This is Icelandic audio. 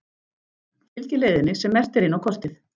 Fylgið leiðinni sem merkt er inn á kortið.